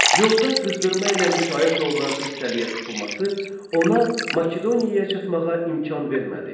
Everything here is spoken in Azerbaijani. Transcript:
Yolda qızdırma ilə müşayiət olunan xəstəliyə tutulması ona Makedoniyaya çatmağa imkan vermədi.